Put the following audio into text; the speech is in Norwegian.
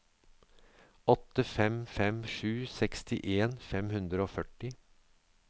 åtte fem fem sju sekstien fem hundre og førti